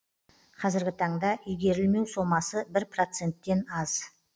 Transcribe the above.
қазіргі таңда игерілмеу сомасы бір проценттен аз